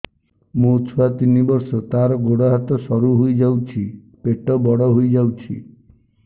ମୋ ଛୁଆ ତିନି ବର୍ଷ ତାର ଗୋଡ ହାତ ସରୁ ହୋଇଯାଉଛି ପେଟ ବଡ ହୋଇ ଯାଉଛି